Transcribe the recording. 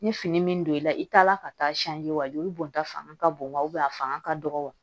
Ni fini min don i la i taa la ka taa joli bɔnta fanga ka bon wa a fanga ka dɔgɔ wa